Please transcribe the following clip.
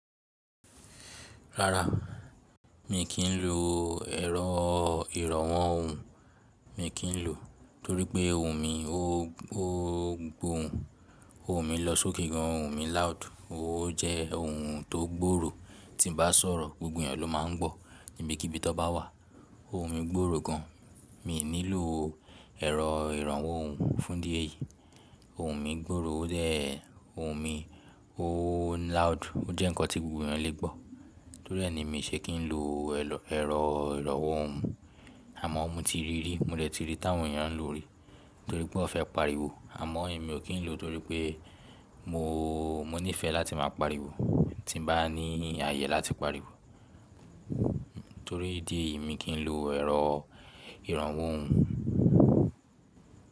Rárá, mi kì í lo ẹ̀rọ ìrànwọ́ ohùn. Mi kì í lò torí pé ohùn mi, o gbohùn. Ohùn mi lọ sókè gan, ohùn mi loud. Ó jẹ́ ohùn tó gbòòrò. Tí mo bá sọ̀rọ̀ gbogbo ènìyàn ló máa ń gbọ̀ níbi kí bí tàn bá wà. Ohùn mi gbòòrò gan. Mi ò nílò ẹ̀rọ ìrànwọ́ ohùn fún idí eyìí. Ohùn mi gbòòrò, ó dẹ̀ ohùn mi, ó loud. Ó jẹ́ nǹkan tí gbogbo ènìyàn lè gbọ́. Torí ẹ̀ ni mi ṣe kì í lo ẹ̀rọ ìrànwọ́ ohùn. Àmọ́ mo ti rí rí, mo dẹ̀ ti rí i tí àwọn ènìyàn ń lò ó rí torí pé wọ́n fẹ́ pariwo. Àmọ́ èmi o kín lò torí pé mo nífẹ̀ẹ́ láti máa pariwo. Tí mo bá ní àyè láti pariwo. Torí idí eyìí mi kì í lo ẹ̀rọ ìrànwọ́ ohùn.